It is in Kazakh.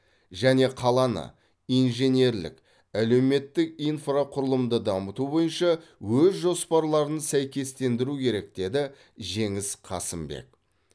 және қаланы инженерлік әлеуметтік инфрақұрылымды дамыту бойынша өз жоспарларын сәйкестендіру керек деді жеңіс қасымбек